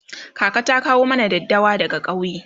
kaka ta kawo mana daddawa daga kauye